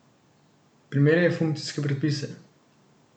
Primerjaj funkcijske predpise.